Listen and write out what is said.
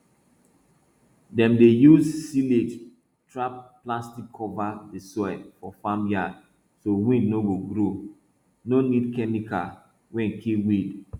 dem dey use silage tarp plastic cover di soil for farm yard so weed no go grow no need chemical wey kill weed